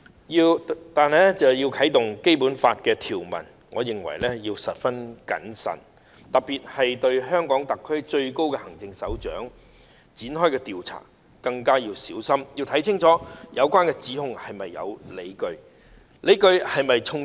如要引用《基本法》的有關條文，我認為要十分謹慎，特別是對香港特區最高行政首長展開調查，更應小心清楚了解有關指控是否有理據，而理據是否充足。